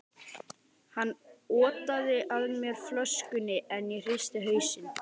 Hann otaði að mér flöskunni, en ég hristi hausinn.